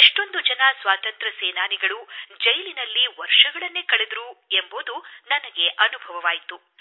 ಎಷ್ಟೊಂದು ಜನ ಸ್ವಾತಂತ್ರ್ಯಯೋಧರು ಜೈಲಿನಲ್ಲಿ ವರ್ಷಗಟ್ಟಲೆ ಕಳೆದರು ಎಂಬುದು ನನಗೆ ವೇದ್ಯವಾಯಿತು